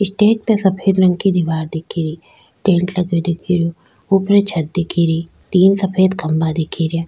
Stage पे सफेद रंग के दिवार दिख री पेन्ट लगो दिख रिया ऊपरी छत दिख री तीन सफेद खम्भा दिख रिया।